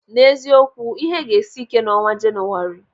N'ezie okwu, ihe ga-esi ike n'ọnwa Jenụwarị.